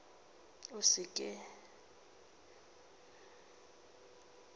a se a ka a